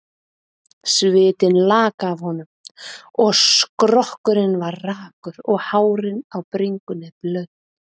Svitinn lak af honum, og skrokkurinn var rakur og hárin á bringunni blaut.